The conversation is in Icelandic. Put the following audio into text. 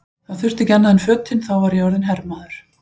Það þurfti ekki annað en fötin, þá var ég orðinn hermaður!